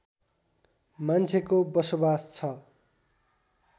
मान्छेको बसोबास छ